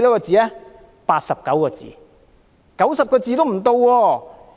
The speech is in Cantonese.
只有89個字，連90個字都沒有。